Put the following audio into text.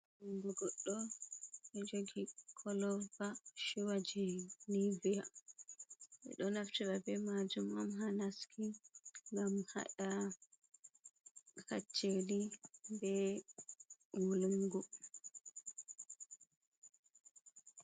Jungo goɗɗo on, ɗo jogi koloba shuuwa je niviya minɗo naftira be majum onha naski, ngam haɗa kacceli be wulungu.